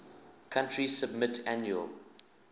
country submit annual